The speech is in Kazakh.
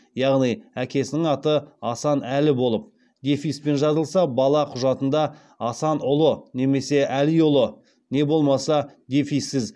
яғни әкесінің аты асан әлі болып дефиспен жазылса бала құжатында асанұлы немесе әлиұлы не болмаса дефиссіз